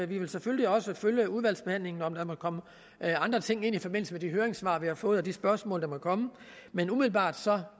vil selvfølgelig også følge udvalgsbehandlingen om der måtte komme andre ting ind i forbindelse med de høringssvar vi har fået og de spørgsmål der måtte komme men umiddelbart